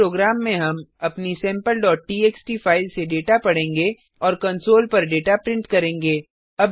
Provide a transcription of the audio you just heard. इस प्रोग्राम में हम अपनी sampleटीएक्सटी फाइल से डेटा पढेंगे और कंसोल पर डेटा प्रिंट करेंगे